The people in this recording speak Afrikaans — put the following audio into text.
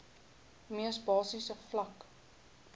mees basiese vlak